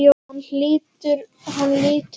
Hann lítur til hennar.